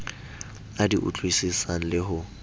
a di utlwisisang le ho